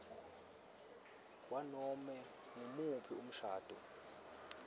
kwanobe ngumuphi umshado